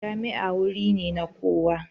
Jami'a wuri ne na koyo.